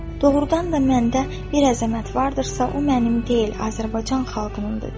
Doğrudan da məndə bir əzəmət vardırsa, o mənim deyil, Azərbaycan xalqınındır.